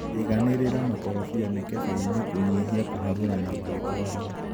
iganĩrĩra makorobia mĩkebeinĩ kũnyihia kũharũrana magĩtwarwo.